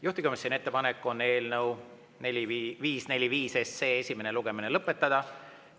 Juhtivkomisjoni ettepanek on eelnõu 545 esimene lugemine lõpetada.